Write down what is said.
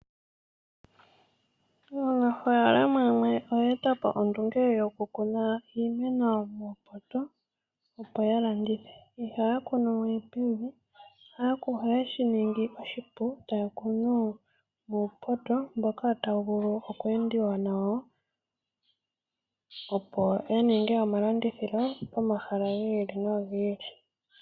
Aanafalama yamwe oye etapo ondunge yoku kuna iimeno muupoto opo yalandithe. Ihaya kunuwe pevi ohaye shiningi oshipu taya kunu muupoto mboka tawu vulu okweendiwa nawo, opo ya ninge omalandithilo pomahala gi ili nogi ili.